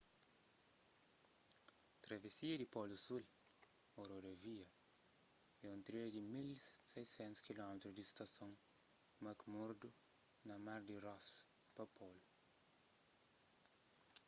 travesia di polu sul ô rodovia é un trilha di 1600 km di stason mcmurdo na mar di ross pa polu